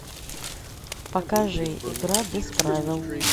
покажи игра без правил